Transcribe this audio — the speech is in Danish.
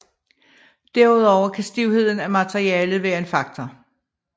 Derudover kan stivheden af materialet være en faktor